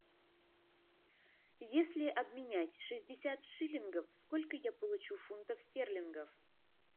если обменять шестьдесят шиллингов сколько я получу фунтов стерлингов